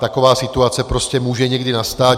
Taková situace prostě může někdy nastat.